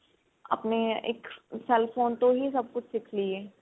ਆਪਣੇ ਇੱਕ cell phone ਤੋਂ ਹੀ ਸਭ ਕੁਛ ਸਿੱਖ ਲਈਏ